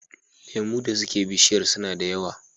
Lemu da suke bishiyar suna da yawa.